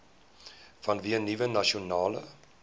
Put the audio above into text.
vanweë nuwe nasionale